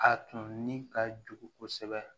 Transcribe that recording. A tun ni ka jugu kosɛbɛ